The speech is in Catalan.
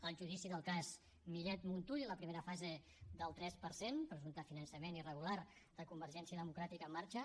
el judici del cas millet montull i la primera fase del tres per cent presumpte finançament irregular de convergència democràtica en marxa